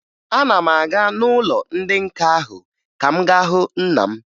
Ana m aga n'ụlọ ndị nka ahụ ka m gaa hụ nna m